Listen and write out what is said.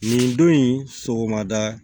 Nin don in sɔgɔmada